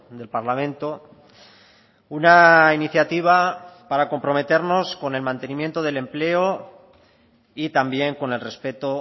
del parlamento una iniciativa para comprometernos con el mantenimiento del empleo y también con el respeto